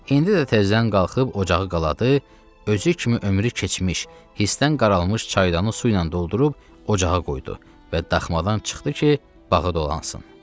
İndi də təzədən qalxıb ocağı qaladı, özü kimi ömrü keçmiş, hisdən qaralmış çaydanı su ilə doldurub ocağa qoydu və daxmadan çıxdı ki, bağı dolansın.